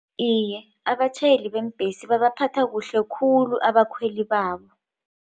Iye abatjhayeli beembhesi babaphatha kuhle khulu abakhweli babo.